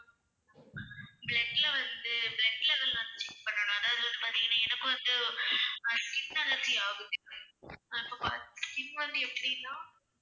blood ல வந்து blood level வந்து check பண்ணனும் அதாவது பார்த்தீங்கனா எனக்கு வந்து அஹ் skin allergy ஆகுது skin வந்து எப்படினா